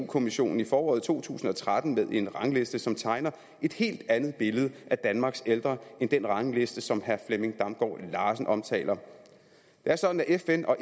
kommissionen i foråret to tusind og tretten med en rangliste som tegner et helt andet billede af danmarks ældre end den rangliste som herre flemming damgaard larsen omtaler det er sådan at fn og